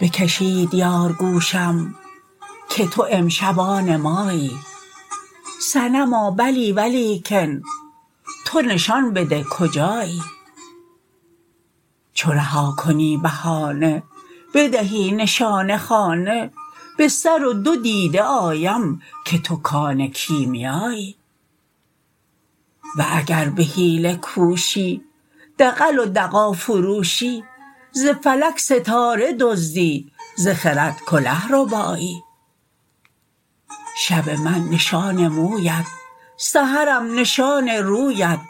بکشید یار گوشم که تو امشب آن مایی صنما بلی ولیکن تو نشان بده کجایی چو رها کنی بهانه بدهی نشان خانه به سر و دو دیده آیم که تو کان کیمیایی و اگر به حیله کوشی دغل و دغا فروشی ز فلک ستاره دزدی ز خرد کله ربایی شب من نشان مویت سحرم نشان رویت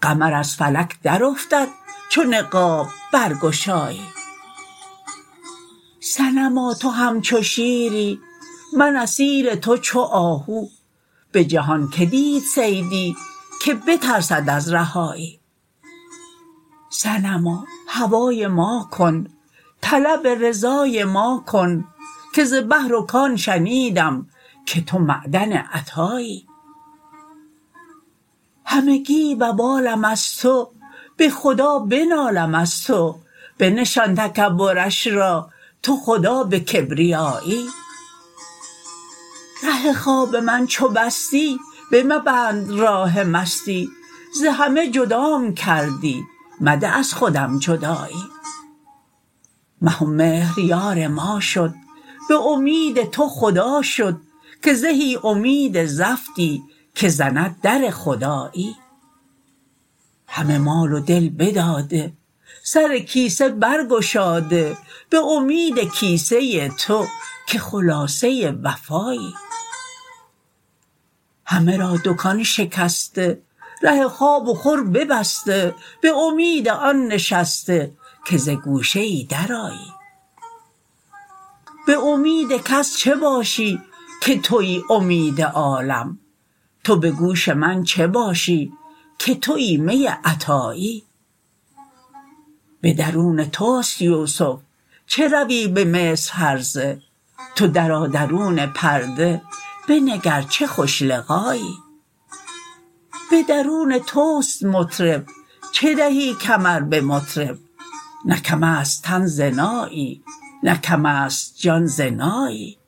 قمر از فلک درافتد چو نقاب برگشایی صنما تو همچو شیری من اسیر تو چو آهو به جهان کی دید صیدی که بترسد از رهایی صنما هوای ما کن طلب رضای ما کن که ز بحر و کان شنیدم که تو معدن عطایی همگی وبالم از تو به خدا بنالم از تو بنشان تکبرش را تو خدا به کبریایی ره خواب من چو بستی بمبند راه مستی ز همه جدام کردی مده از خودم جدایی مه و مهر یار ما شد به امید تو خدا شد که زهی امید زفتی که زند در خدایی همه مال و دل بداده سر کیسه برگشاده به امید کیسه تو که خلاصه وفایی همه را دکان شکسته ره خواب و خور ببسته به امید آن نشسته که ز گوشه ای درآیی به امید کس چه باشی که توی امید عالم تو به گوش می چه باشی که توی می عطایی به درون توست یوسف چه روی به مصر هرزه تو درآ درون پرده بنگر چه خوش لقایی به درون توست مطرب چه دهی کمر به مطرب نه کم است تن ز نایی نه کم است جان ز نایی